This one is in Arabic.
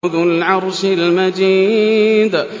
ذُو الْعَرْشِ الْمَجِيدُ